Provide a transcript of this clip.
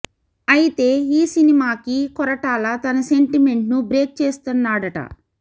అయితే ఈ సినిమాకి కొరటాల తన సెంటిమెంట్ ను బ్రేక్ చేస్తున్నాడట